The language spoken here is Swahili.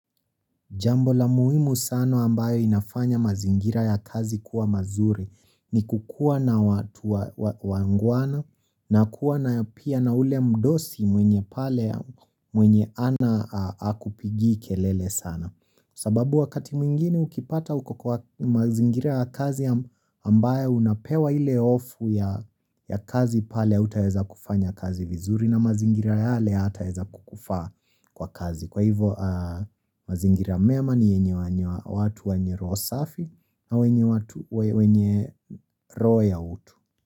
Jambo la muhimu sana ambayo inafanya mazingira ya kazi kwa mazuri ni kukuwa na watu wangwana na kuwa na ya pia ya na ule mdosi mwenye pale mwenye hakupigii kelele sana sababu wakati mwingine ukipata uko kwa mazingira ya kazi ambayo unapewa ile hofu ya kazi pale hutaweza kufanya kazi vizuri na mazingira yale hayataweza kukufaa kwa kazi kwa hivyo mazingira mema ni yenye watu wenye roho safi na wenye roho ya utu.